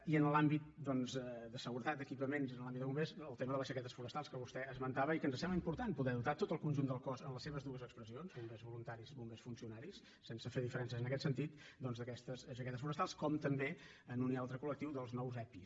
i en l’àmbit de seguretat d’equipaments en l’àmbit de bombers el tema de les jaquetes forestals que vostè esmentava i que ens sembla important poder dotar tot el conjunt del cos en les seves dues expressions bombers voluntaris i bombers funcionaris sense fer diferències en aquest sentit doncs d’aquestes jaquetes forestals com també en un i altre col·lectiu dels nous epi